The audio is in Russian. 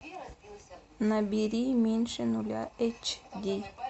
набери меньше нуля эйч ди